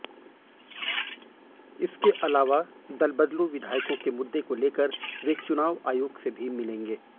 इसके अलावा दल बदलू विधायकों के मुद्दे को लेकर वे चुनाव आयोग से भी मिलेगे